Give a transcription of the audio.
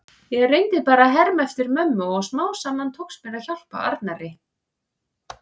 Ég reyndi bara að herma eftir mömmu og smám saman tókst mér að hjálpa Arnari.